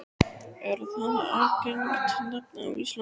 Er það algengt nafn á Íslandi?